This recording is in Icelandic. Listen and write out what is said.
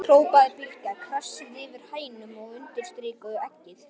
hrópaði Bylgja, krassaði yfir hænuna og undirstrikaði eggið.